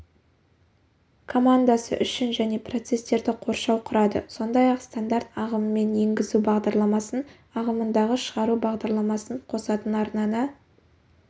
командасы үшін және процестерді қоршау құрады сондай-ақ стандарт ағымымен енгізу бағдарламасын ағымындағы шығару бағдарламасын қосатын арнаны